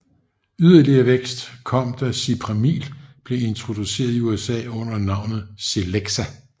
Yderligere vækst kom da Cipramil blev introduceret i USA under navnet Celexa